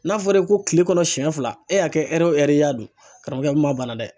N'a fɔra e ye ko tile kɔnɔ siɲɛ fila , e y'a kɛ ɛri o ɛri i y'a dun, karamɔgɔkɛ, o bɛ maa banna dɛ!